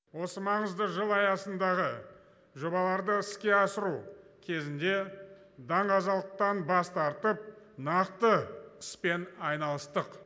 осы маңызды жыл аясындағы жобаларды іске асыру кезінде даңғазалықтан бас тартып нақты іспен айналыстық